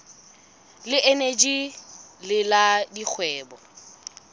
le eneji le la dikgwebo